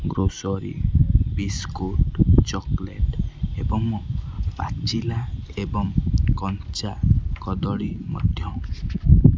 grocery biscuit chocolate ଏବଂ ପାଚିଲା ଏବଂ କଞ୍ଚା କଦଳୀ ମଧ୍ଯ--